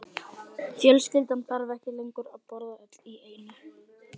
Fjölskyldan þarf ekki lengur að borða öll í einu.